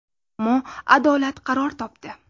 Ammo adolat qaror topdi.